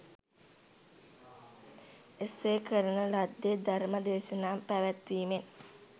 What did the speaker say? එසේ කරන ලද්දේ ධර්ම දේශනා පැවැත්වීමෙන්